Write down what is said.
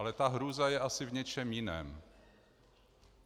Ale ta hrůza je asi v něčem jiném.